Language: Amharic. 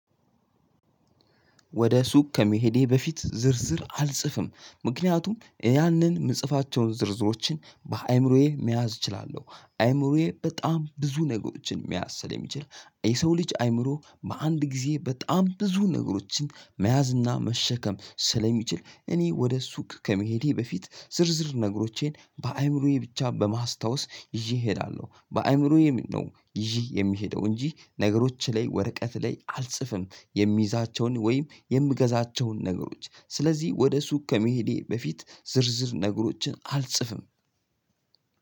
ወደ ሱቅ ከመሄዴ በፊት ዝርዝር አልጽፍም ምክንያቱም ያንን ምጽፋቸውን ዝርዝሮችን በአይምሮዬ መያዝ እችላለሁ አይምሮዬ በጣም ብዙ ነገሮችን መያዝ ስለ ሚችል የሰው ልጅ አይምሮ በአንድ ጊዜ በጣም ብዙ ነገሮችን መያዝ እና መሸከም ስለሚችል እኔ ወደ ሱቅ ከመሄዴ በፊት ዝርዝር ነገሮቼን በአይምሮዬ ብቻ በማስታወስ ይዤ እሄዳለሁ። በአይምሮዬ ነው ይዤ የሚሄደው እንጂ ነገሮች ላይ ወረቀት ላይ አልጽፍም። የሚይዛቸውን ወይም የምገዛቸውን ነገሮች ስለዚህ ወደ ሱቅ ከመሄዴ በፊት ዝርዝር ነገሮችን አልጽፍም።